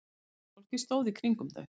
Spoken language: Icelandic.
Heimilisfólkið stóð í kringum þau.